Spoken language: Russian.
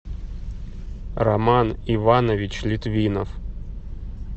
роман иванович литвинов